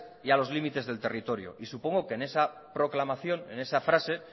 y a los limites del territorio y supongo que en esa proclamación en esa frase